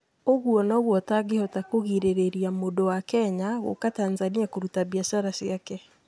Ũguo noguo ũtangĩhota kũgirĩrĩria mũndũ wa Kenya gũũka Tanzania kũruta biacara yake…